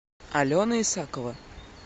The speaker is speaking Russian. алена исакова